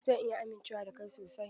Zan iya amincewa da kai sosai?